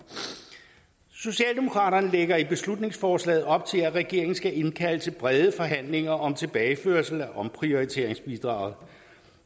socialdemokraterne lægger i beslutningsforslaget op til at regeringen skal indkalde til brede forhandlinger om tilbageførsel af omprioriteringsbidraget